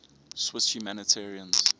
swiss humanitarians